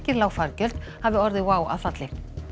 lág fargjöld hafi orðið WOW að falli